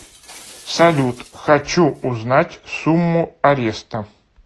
салют хочу узнать сумму ареста